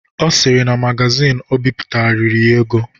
Ọ sịrị na magazin Ọ bipụtara riri ya ego.